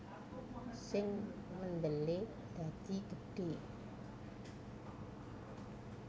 Sing mendele dadi gedhe